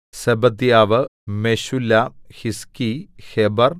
Zebadiah Meshullam Hizki Heber